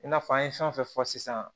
I n'a fɔ an ye fɛn o fɛn fɔ sisan